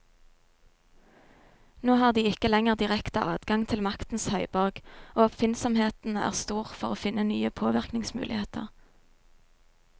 Nå har de ikke lenger direkte adgang til maktens høyborg, og oppfinnsomheten er stor for å finne nye påvirkningsmuligheter.